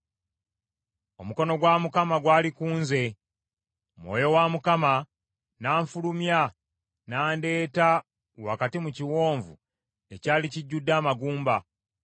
Omukono gwa Mukama gwali ku nze, Mwoyo wa Mukama n’anfulumya, n’andeeta wakati mu kiwonvu ekyali kijjudde amagumba.